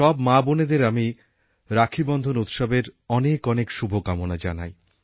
সব মাবোনেদের আমি রাখীবন্ধন উৎসবের অনেক অনেক শুভকামনা জানাই